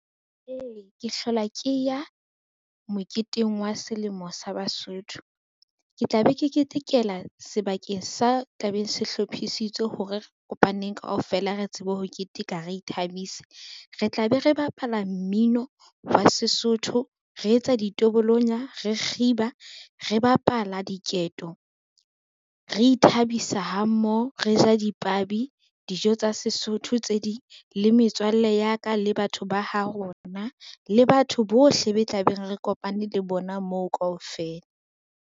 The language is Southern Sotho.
Ee, ke hlola ke ya moketeng wa selemo sa Basotho, ke tla be ke ketekela sebakeng sa tlabeng se hlophisitswe hore re kopaneng kaofela re tsebe ho keteka, re ithabise. Re tla be re bapala mmino wa Sesotho, re etsa ditobolonya, re kgiba, re bapala diketo, re ithabisa ha mmoho, re ja dipabi, dijo tsa Sesotho tse ding le metswalle ya ka, le batho ba ha rona le batho bohle be tla be re kopane le bona moo kaofela.